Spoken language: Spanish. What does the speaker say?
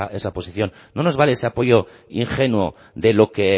esa posición no nos vale ese apoyo ingenuo de lo que